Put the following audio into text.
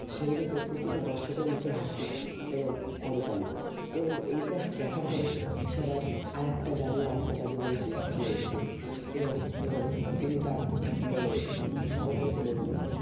সেই দেখে প্রতিটা দর্শকের মুখে হাসি এবং করতালি এবং এইটা দেখার পরে সবাই আরেকটা জাদু আরেকটা জাদু বলে চেঁচিয়ে উঠলেন এবং এবং তিনি তার মানে সহকারীকে বললো